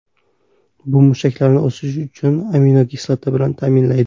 Bu mushaklarni o‘sishi uchun aminokislota bilan ta’minlaydi.